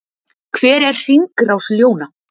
hver er hringrás ljóna